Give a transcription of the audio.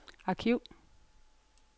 arkiv